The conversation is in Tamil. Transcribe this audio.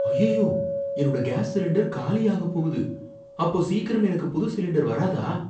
அய்யய்யோ, என்னோட கேஸ் சிலிண்டர் காலியாகப் போகுது. அப்போ, சீக்கிரம் எனக்கு புது சிலிண்டர் வராதா?